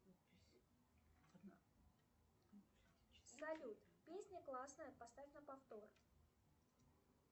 салют песня классная поставь на повтор